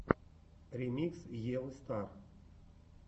ремикс евы стар